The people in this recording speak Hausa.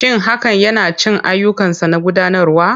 Shin hakan yana cikin ayyukansa na gudanarwa?